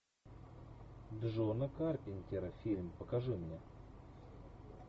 джона карпентера фильм покажи мне